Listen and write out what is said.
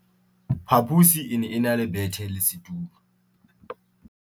phaposi e ne e na le bethe le setulo